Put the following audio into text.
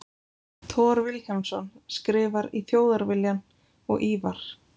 Thor Vilhjálmsson skrifar í Þjóðviljann og Ívar